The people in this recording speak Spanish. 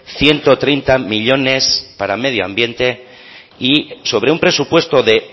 ciento treinta millónes para medio ambiente y sobre un presupuesto de